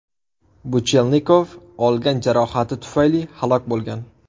Buchelnikov olgan jarohati tufayli halok bo‘lgan.